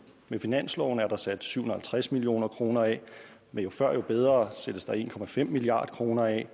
med finansloven er der sat syv hundrede og halvtreds million kroner af med jo før jo bedre sættes der en milliard kroner af